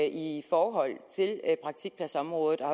i forhold til praktikpladsområdet og